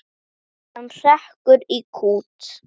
Hann hrekkur í kút.